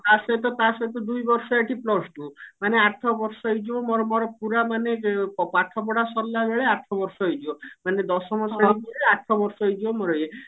ଆ ସହିତ ତା ସହିତ ଦୁଇ ବର୍ଷ ଏଠି plus two ମାନେ ଆଠ ବର୍ଷ ହେଇଯିବ ମୋର ମୋର ପୁରା ମାନେ ପାଠ ପଢା ସରିଲା ବେଳେ ଆଠ ବର୍ଷ ହେଇଯିବ ମାନେ ଦଶମ ଶ୍ରେଣୀ ରେ ଆଠ ବର୍ଷ ହେଇଯିବ ମୋର ଇଏ